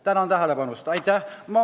Tänan tähelepanu eest!